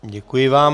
Děkuji vám.